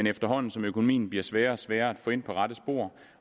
efterhånden som økonomien bliver sværere og sværere at få ind på rette spor